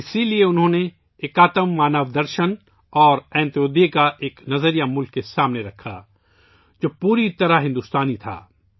اس لئے انہوں نے ' ایک آتما مانو درشن' اور ' انتودیا ' کا ایک نظریہ ملک کے سامنے رکھا ، جو پوری طرح بھارتیہ تھا